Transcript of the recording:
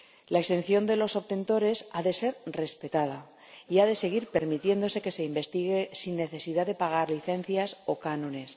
La exención de los obtentores ha de ser respetada, y ha de seguir permitiéndose que se investigue sin necesidad de pagar licencias o cánones.